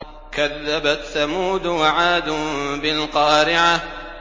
كَذَّبَتْ ثَمُودُ وَعَادٌ بِالْقَارِعَةِ